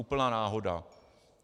Úplná náhoda.